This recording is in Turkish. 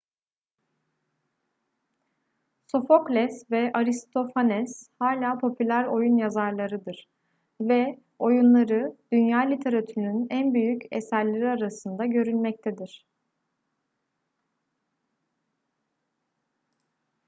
sofokles ve aristofanes hala popüler oyun yazarlarıdır ve oyunları dünya literatürünün en büyük eserleri arasında görülmektedir